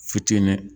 Fitinin